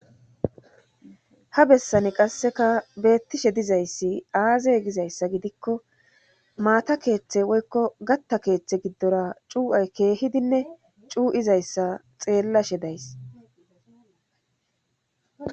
Ha bessani qasseka beettishe dizayssi aazay gizayssa gidikko maata keeththe woykko gatta keeththe giddora cuu7ay keehidinne cuu7izayssa xeellashe days